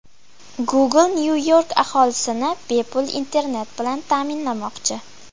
Google Nyu-York aholisini bepul internet bilan ta’minlamoqchi.